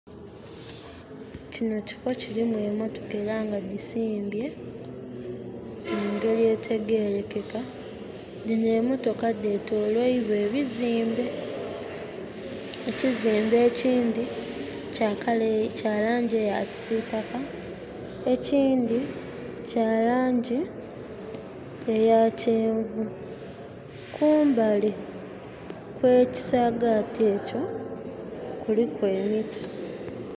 Kinho kifo kirimu emotoka era nga dhisimbye mungeri etegerekeka, dhinho emotoka ddhetoloilwa ebizimbe, ekizimbe ekindhi kya langi eya kisitaka ekindhi kyalangi eyakyenvu kumbali kwekisagati ekyo kuliku emiti.